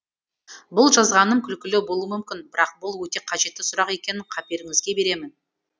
бұл жазғаным күлкілі болуы мүмкін бірақ бұл өте қажетті сұрақ екенін қаперіңізге беремін